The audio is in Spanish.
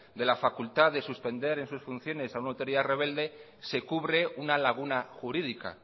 de la facultad de suspender en sus funciones a una autoridad rebelde se cubre una laguna jurídica